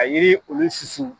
a yiri olu susu.